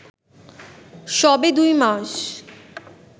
সবে দুই মাস